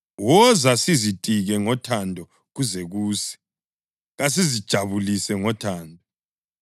Woza sizitike ngothando kuze kuse; kasizijabulise ngothando!